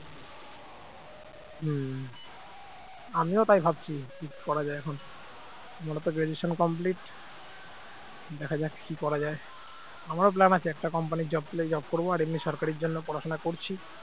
আমিও তাই ভাবছি কি করা যায় এখন আমারও তো graduation complete দেখা যাক কি করা যায় আমারও plan আছে একটা company র job পেলে job করব আর এমনি সরকারের জন্য পড়াশোনা করছি